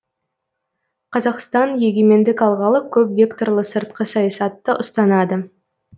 қазақстан егемендік алғалы көпвекторлы сыртқы саясатты ұстанады